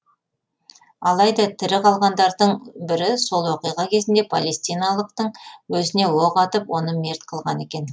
алайда тірі қалғандардың бірі сол оқиға кезінде палестиналықтың өзіне оқ атып оны мерт қылған екен